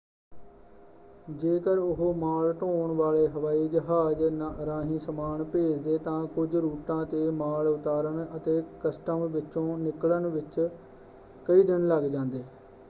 ਜੇਕਰ ਉਹ ਮਾਲ ਢੋਣ ਵਾਲੇ ਹਵਾਈ ਜਹਾਜ਼ ਰਾਹੀਂ ਸਮਾਨ ਭੇਜਦੇ ਤਾਂ ਕੁਝ ਰੂਟਾਂ ‘ਤੇ ਮਾਲ ਉਤਾਰਨ ਅਤੇ ਕਸਟਮ ਵਿੱਚੋਂ ਨਿਕਲਣ ਵਿੱਚ ਕਈ ਦਿਨ ਲੱਗ ਜਾਂਦੇ।